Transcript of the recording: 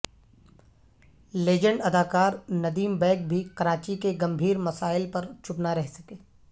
legend اداکار ندیم بیگ بھی کراچی کے گھمبیرمسائل پر چپ نہ رہ سکے